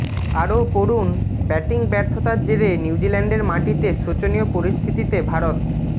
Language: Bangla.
আরও পড়ুনঃ ব্যাটিং ব্যর্থতার জেরে নিউজিল্যান্ডের মাটিতে শোচনীয় পরিস্থিতিতে ভারত